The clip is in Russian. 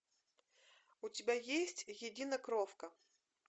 у тебя есть единокровка